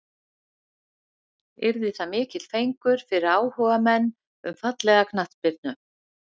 Yrði það mikill fengur fyrir áhugamenn um fallega knattspyrnu.